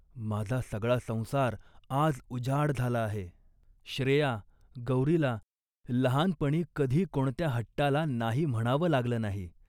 माझा सगळा संसार आज उजाड झाला आहे. श्रेया, गौरीला लहानपणी कधी कोणत्या हट्टाला नाही म्हणावं लागलं नाही